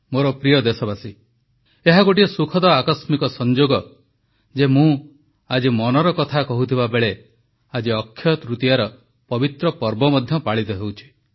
ମୋର ପ୍ରିୟ ଦେଶବାସୀଗଣ ଏହା ଗୋଟିଏ ସୁଖଦ ଆକସ୍ମିକ ସଂଯୋଗ ଯେ ମୁଁ ଆଜି ମନର କଥା କହୁଥିବା ବେଳେ ଆଜି ଅକ୍ଷୟ ତୃତୀୟାର ପବିତ୍ର ପର୍ବ ମଧ୍ୟ ପାଳିତ ହେଉଛି